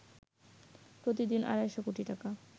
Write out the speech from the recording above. প্রতিদিন আড়াইশো কোটি টাকা